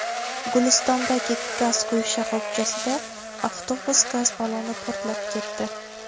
Gulistondagi gaz quyish shoxobchasida avtobus gaz balloni portlab ketdi.